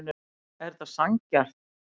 Er þetta sanngjarnt